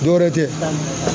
Dɔ wɛrɛ tɛ